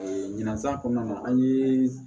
ɲinansan kɔnɔna na an ye